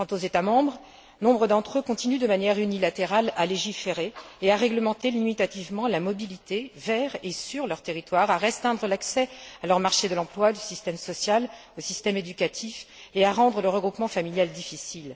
Quant aux États membres, nombre d'entre eux continuent, de manière unilatérale, à légiférer et à réglementer limitativement la mobilité vers et sur leur territoire, à restreindre l'accès à leur marché de l'emploi, au système social, au système éducatif et à rendre le regroupement familial difficile.